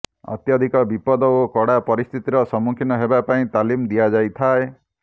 ଅତ୍ୟଧିକ ବିପଦ ଓ କଡା ପରିସ୍ଥିତିର ସମ୍ମୁଖୀନ ହେବା ପାଇଁ ତାଲିମ ଦିଆଯାଇଥାଏ